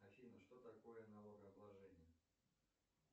афина что такое налогообложение